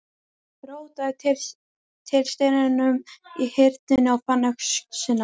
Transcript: Rótaði til steinum í Hyrnunni og fann öxina.